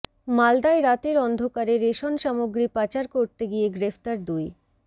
মালদায় রাতের অন্ধকারে রেশন সামগ্রী পাচার করতে গিয়ে গ্রেফতার দুই